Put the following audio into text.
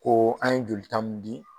Oo an ye jolita mun di